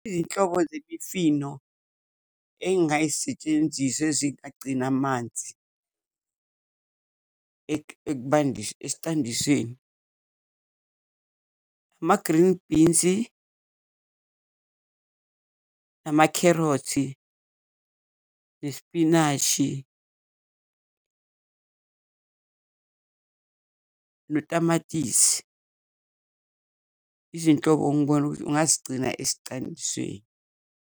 Izinhlobo zemifino engayisetshenzisa ezingagcina amanzi esicandiseni. Ama-green bean-zi, amakherothi, isipinashi notamatisi. Izinhlobo engibona ukuthi ungazigcina .